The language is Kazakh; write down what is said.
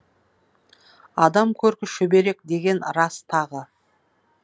адам көркі шүберек деген рас тағы